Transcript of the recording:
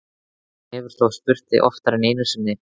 Hann hefur þá spurt þig oftar en einu sinni?